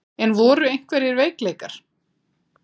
En voru einhverjir veikleikar?